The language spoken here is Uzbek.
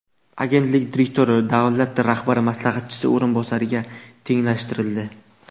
Agentlik direktori davlat rahbari maslahatchisi o‘rinbosariga tenglashtirildi.